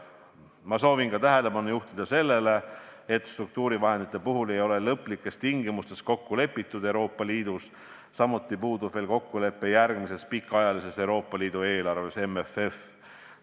Ma soovin tähelepanu juhtida ka sellele, et struktuurivahendite puhul ei ole Euroopa Liidus lõplikes tingimustes kokku lepitud, samuti puudub kokkulepe järgmises pikaajalises Euroopa Liidu eelarves ehk MFF-is.